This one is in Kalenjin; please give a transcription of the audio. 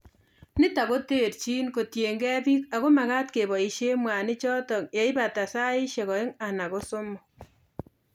Nitok koterchin kotiegei biik ako makat keboishe mwanik chotokyeibata saishek aeng anan ko somok